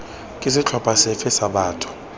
ke setlhopha sefe sa batho